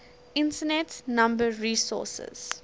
internet number resources